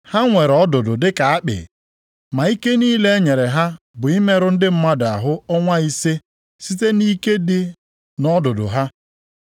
Ha nwere ọdụdụ dịka akpị. Ma ike niile e nyere ha bụ imerụ ndị mmadụ ahụ ọnwa ise site nʼike dị nʼọdụdụ ha.